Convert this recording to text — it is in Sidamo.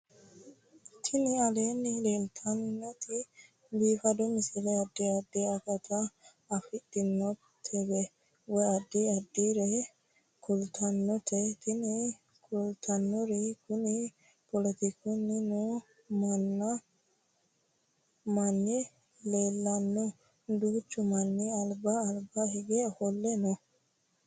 Tini aleenni leetannoti biifado misile adi addi akata afidhinote woy addi addire kultannote tini kultannori kuni poletikunniwa noo manni leellannoe duuchu manni alba alaba hige ofolle no